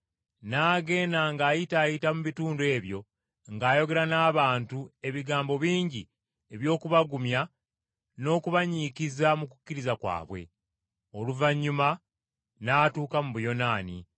N’agenda ng’ayitaayita mu bitundu ebyo ng’ayogera n’abantu ebigambo bingi eby’okubagumya n’okubanyiikiza mu kukkiriza kwabwe. Oluvannyuma n’atuuka mu Buyonaani,